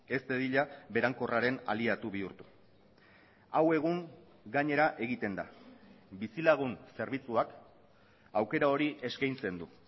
ez dadila berankorraren aliatu bihurtu hau egun gainera egiten da bizilagun zerbitzuak aukera hori eskaintzen du